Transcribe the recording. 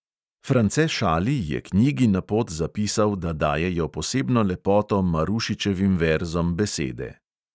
France šali je knjigi na pot zapisal, da dajejo posebno lepoto marušičevim verzom besede.